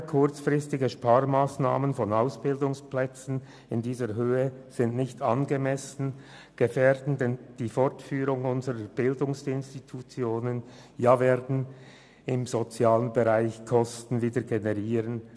Vorschnelle, kurzfristige Sparmassnahmen in dieser Höhe bei Ausbildungsstätten sind nicht angemessen, sie gefährden den Fortbestand unserer Bildungsinstitutionen und werden im sozialen Bereich wieder Kosten generieren.